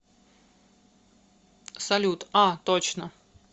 салют а точно